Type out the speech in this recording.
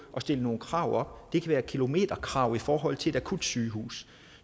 og stille nogle krav op det kan være kilometerkrav i forhold til et akutsygehus